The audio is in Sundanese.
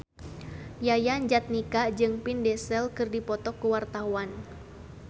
Yayan Jatnika jeung Vin Diesel keur dipoto ku wartawan